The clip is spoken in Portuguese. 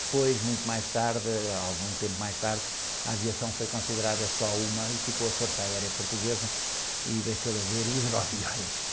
Depois, muito mais tarde, ãh, algum tempo mais tarde, a aviação foi considerada só uma e ficou a Força Aérea Portuguesa e deixou de haver hidroaviões.